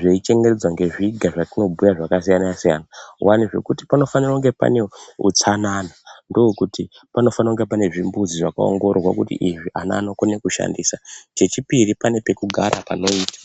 zvei chengetedzwa ngezviga zvatobhuya zvakasiyana-siyana. Kuvane zvekuti panofanire kunge pane hutsanana ndokuti panofanire kunge pane zvimbuzi zvakaongororwa kuti izvi ana anokone kushandisa chechipiri pane pekugara panoita.